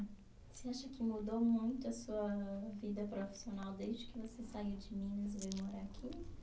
Você acha que mudou muito a sua vida profissional desde que você saiu de Minas e veio morar aqui?